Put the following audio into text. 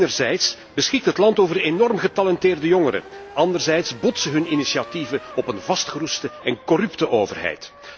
Enerzijds beschikt het land over enorm getalenteerde jongeren, anderzijds botsen hun initiatieven op een vastgeroeste en corrupte overheid.